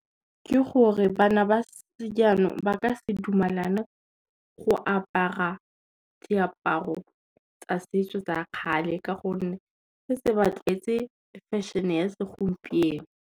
Ke gore bana ba sejanong ba ka se dumelana go apara diaparo tsa setso tsa kgale ka gonne, se tse ba tlwaetse fashion-e ya segompieno.